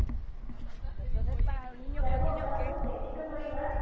ইয়াৰ পৰা ওলোৱাৰ পিছত practical কৰিবা ?